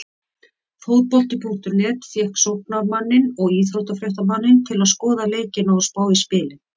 Fótbolti.net fékk sóknarmanninn og íþróttafréttamanninn til að skoða leikina og spá í spilin.